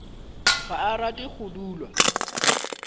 ga a rate go dulwa